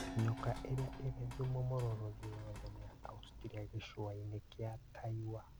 Nyoka ĩrĩa ĩrī thumu mūrūrū thĩ yothe nī ya Austria gĩcũainĩ kĩa Taiwa.